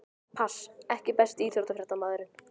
Pass EKKI besti íþróttafréttamaðurinn?